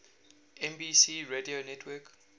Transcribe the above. nbc radio network